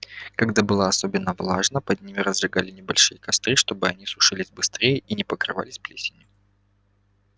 когда было особенно влажно под ними разжигали небольшие костры чтобы они сушились быстрее и не покрывались плесенью